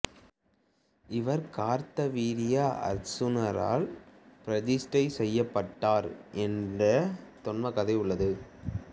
இவர் கார்த்தவீரிய அருச்சுனனால் பிரதிட்டை செய்யப்பட்டார் என்ற தொன்மக்கதை உள்ளது